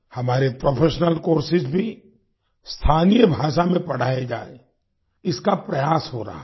हमारे professional courses भी स्थानीय भाषा में पढ़ाए जाएँ इसका प्रयास हो रहा है